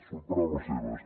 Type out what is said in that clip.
són paraules seves